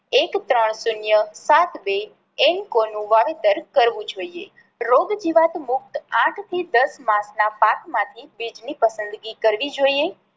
એક ત્રણ શૂન્ય સાત બે N co નું વાવેતર કરવું જોઈએ. રોગ જીવાત મુક્ત આઠ થી દસ માસ ના માસ માંથી બીજ ની પસંદગી કરવી જોઈએ.